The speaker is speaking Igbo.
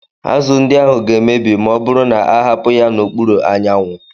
Azụ ndị ahụ ga-emebi ma ọ bụrụ na a hapụ ya n'okpuru anyanwụ